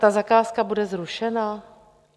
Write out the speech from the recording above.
Ta zakázka bude zrušena?